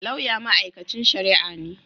Lauya mai'aikancin sharia ne.